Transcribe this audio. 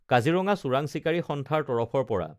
কাজিৰঙা চোৰাং চিকাৰী সন্থাৰ তৰফৰ পৰা